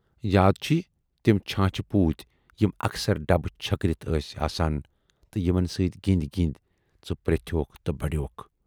یاد چھِی تِم چھانچھٕ پوٗتۍ یِم اکثر ڈبہٕ چھٔکرِتھ ٲس آسان تہٕ یِمن سۭتۍ گِندۍ گِندۍ ژٕ پرٮ۪تھوکھ تہٕ بڈیوکھ۔